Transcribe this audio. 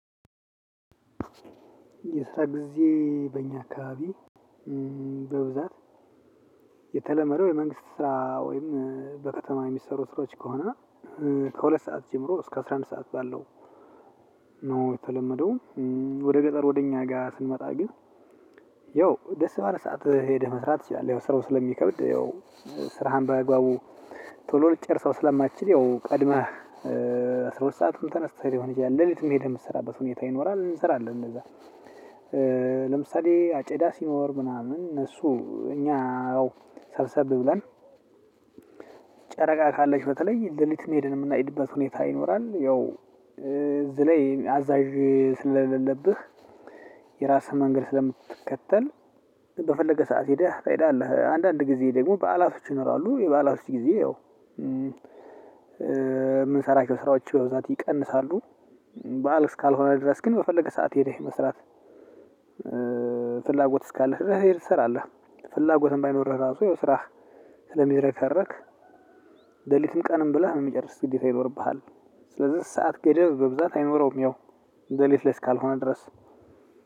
የስራ ጊዜ በእኛ አካባቢ በብዛት የተለመደው የመንግስት ስራ ወይም በከተማ የሚሰሩ ስራዎች ከሆነ ከሁለት ሰዓት ጀምሮ እስከ አስራ አንድ ሰዓት ባለው ነው የተለመደው። ወደ ገጠር ወደ እኛ ጋር ስንመጣ ግን። ያው ደስ ባለ ሰዓት ሄደህ መስራት ትችላለህ። ያው ስራው ስለሚከብድ ያው ስራህን ባግባቡ ቶሎ ልትጨርሰው ስለማትችል ያው ቀድመህ አስራ ሁለት ሰአቱን ተነስተህ ሊሆን ይችላል ሌሊትም ሄደህ የምትሰራበት ሁኔታ ይኖራል። እንሰራለን እንደዛ። ለምሳሌ አጨዳ ሲኖር ምናምን እነሱ እኛ ሰብሰብ ብለን ጨረቃ ካለች በተለይ ሌሊት ሄደን የምናጭድበት ሁኔታ ይኖራል። ያው በተለይ አዛዣ ስለሌለብህ የራስህን መንገድ ሰለምትከተል በፈለገ ሰዓት ሄደህ ትሄዳለህ። አንዳንድ ጊዜ ደግሞ በዓላቶች ይኖራሉ የበአላቶች ጊዜ ያው የምንሰራቸው ስራዎች በዛት ይቀንሳሉ። በዓል እስካልሆነ ድረስ ግን በፈለገ ሰዓት ሄደህ መስራት ፍላጎት እስካለህ ድርስ ሄደህ ትሰራለህ። ፍላጎትም ባይኖርህ ራሱ ያው ስራህ ስለሚዝረከረክ ለሊትም ቀንም ብለህ የሚጨርስ ግዴታ ይኖርብሃል። ስለዚህ ሰዓት ገደብ በብዛት አይኖረውም። ያው ለሊት ላይ እስካልሆነ ድረስ